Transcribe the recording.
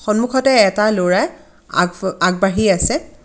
সন্মুখতে এটা ল'ৰাই আগ-ব-আগবাঢ়ি আছে.